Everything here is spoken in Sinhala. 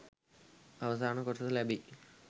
අවසාන කොටස ලැබෙයි